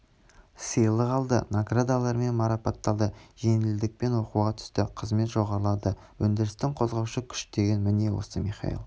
сыйлық алды наградалармен марапатталды жеңілдікпен оқуға түсті қызмет жоғарылады өндірістің қозғаушы күш деген міне осы михаил